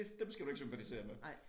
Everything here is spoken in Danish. Det dem skal du ikke sympatisere med